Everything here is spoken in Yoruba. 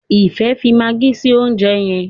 Ifẹ fí Maggie sí oúnjẹ yén.